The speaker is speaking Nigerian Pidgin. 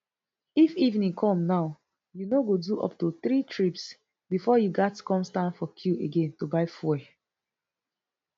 if evening come now you no go do up to three trips bifor you gatz come stand for queue again to buy fuel